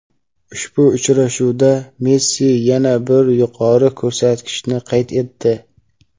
Ushbu uchrashuvda Messi yana bir yuqori ko‘rsatkichni qayd etdi.